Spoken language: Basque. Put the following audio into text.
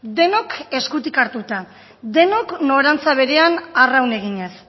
denok eskutik hartuta denok norantza berean arraun eginez